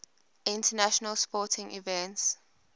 international sporting events